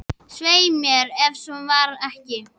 Svei mér, ef svo var ekki.